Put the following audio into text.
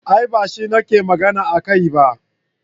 A'a bashi nake magana akai ba.